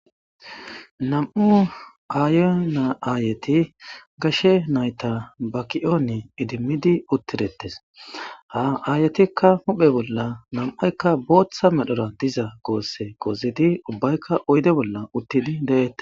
Nam'u aayona aayeti gashe nayta baki'ooni idimmidi uttidetes. Ha aayetikka huphe bolla nam'aykka booththa medhora diza goosse gozidi ubbaykka oyde bolla uttidi de'ettes.